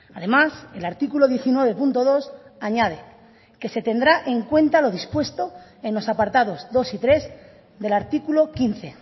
además el artículo diecinueve punto dos añade que se tendrá en cuenta lo dispuesto en los apartados dos y tres del artículo quince